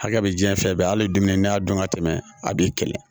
Hakɛ bɛ jiɲɛ fɛn bɛɛ ali don n'i y'a dɔn ka tɛmɛ a b'i kɛlɛ